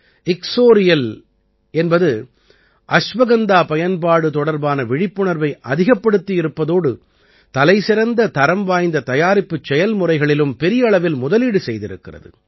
இக்ஸோரியல் என்பது அஸ்வகந்தா பயன்பாடு தொடர்பான விழிப்புணர்வை அதிகப்படுத்தி இருப்பதோடு தலைசிறந்த தரம் வாய்ந்த தயாரிப்புச் செயல்முறைகளிலும் பெரிய அளவில் முதலீடு செய்திருக்கிறது